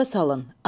Yada salın.